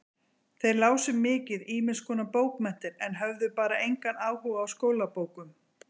Þeir lásu mikið ýmiskonar bókmenntir en höfðu bara engan áhuga á skólabókum.